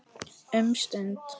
Um stund.